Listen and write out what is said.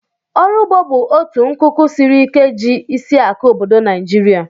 Ọrụ ụgbọ bụ otu nkuku siri ike ji isiakụ obodo Naijiria